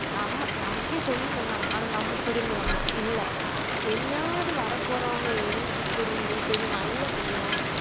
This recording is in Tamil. நம்ம நமக்கே சொல்லி தந்தாங்க ஆனா நம்ம திருந்தணுமா இல்ல இனியாவது வரப் போறவங்க இருந்து திருந்தி கொஞ்சம் நல்லபடியா